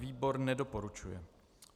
Výbor nedoporučuje.